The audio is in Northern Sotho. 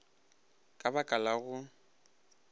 ka ba ka la go